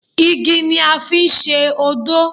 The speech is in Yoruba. Igi ni a fi ń ṣe odó